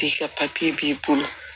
F'i ka b'i bolo